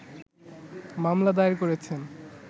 মামলা দায়ের করেছেন